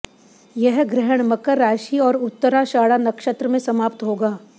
यह ग्रहण मकर राशि और उत्तराषाढ़ा नक्षत्र में समाप्त होगा